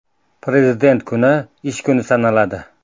Prezident kuni ish kuni sanaladi.